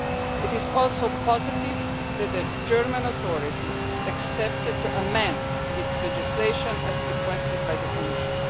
It is also positive that the German authorities agreed to amend their legislation as requested by the Commission.